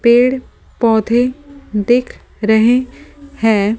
पेड़-पौधे दिख रहे हैं ।